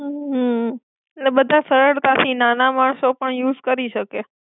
હમ લે બધા સરળતાથી નાના માણસો પણ યુઝ કરી શકે.